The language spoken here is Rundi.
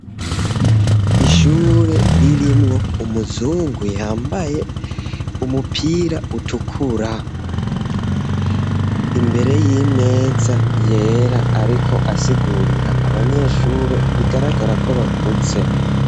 Ishure ririmwo umuzungu yambaye umupira utukura. Imbere y'imeza yera ariko asigurira abanyeshure bigaragara ko bakuze.